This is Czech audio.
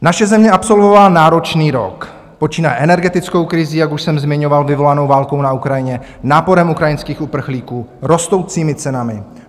Naše země absolvovala náročný rok, počínaje energetickou krizí, jak už jsem zmiňoval, vyvolanou válkou na Ukrajině, náporem ukrajinských uprchlíků, rostoucími cenami.